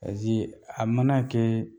a mana kɛ